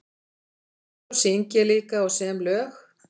Svo syng ég líka og sem lög.